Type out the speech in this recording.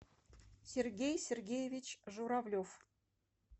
сергей сергеевич журавлев